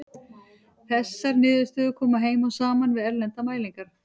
Þessar niðurstöður koma heim og saman við erlendar mælingar.